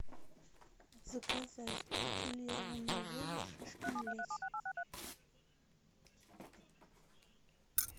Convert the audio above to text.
заказать бутилированную воду шишкин лес